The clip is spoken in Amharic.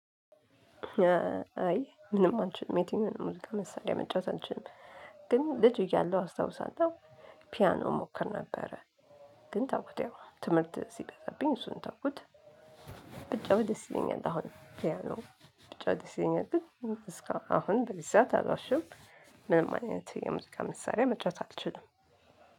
አይ ምንም አልችልም የትኛውንም ሙዚቃ መሳሪያ መጫወት አልችልም። ግን ልጅ እያለሁ አስታውሳለሁ። ፒያኖ ሞክር ነበረ። ግን ተውኩት ትምህርት ሲበዛብኝ እሱንም ተውኩት። ብጫወት ደስ ይለኛል አሁን ፒያኖ ብጫወት ደስ ይለኛል። እስካሁን በዚ ሰዓት አልዋሽም። ምንም አይነት የሙዚቃ መሳሪያ መጫወት አልችልም።